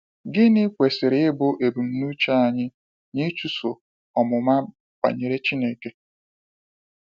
Gịnị kwesịrị ịbụ ebumnuche anyị n’ịchụso ọmụma banyere Chineke?